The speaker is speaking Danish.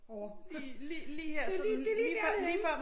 Lige lige lige her sådan lige før